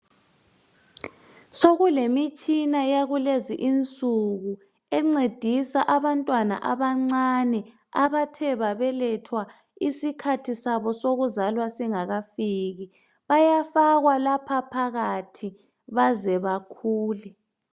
Sekulemitshina yakulezi insuku encedisa abantwana abancane abathe babelethwa isikhathi sabo sokuzalwa singakafiki. Bayafakwa lapha phakathi baze bakhule.